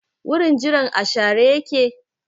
Wurin jiran a share yake?